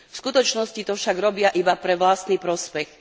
V skutočnosti to však robia iba pre vlastný prospech.